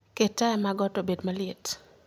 Ket taya mag ot obed maliet